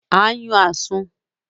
À ń yàn Àsun